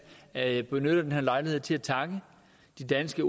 at benytte denne lejlighed til at takke de danske